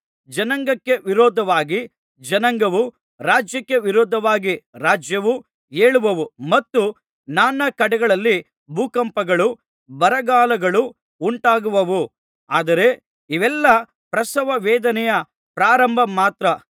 ಜನಾಂಗಕ್ಕೆ ವಿರೋಧವಾಗಿ ಜನಾಂಗವೂ ರಾಜ್ಯಕ್ಕೆ ವಿರೋಧವಾಗಿ ರಾಜ್ಯವೂ ಏಳುವವು ಮತ್ತು ನಾನಾ ಕಡೆಗಳಲ್ಲಿ ಭೂಕಂಪಗಳೂ ಬರಗಾಲಗಳೂ ಉಂಟಾಗುವವು ಆದರೆ ಇವೆಲ್ಲಾ ಪ್ರಸವ ವೇದನೆಯ ಪ್ರಾರಂಭ ಮಾತ್ರ